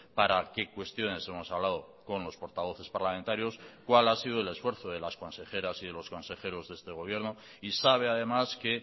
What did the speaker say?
para qué cuestiones hemos hablado con los portavoces parlamentarios cuál ha sido el esfuerzo de las consejeras y de los consejeros de este gobierno y sabe además que